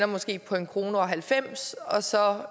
måske på en kroner og halvfems øre og så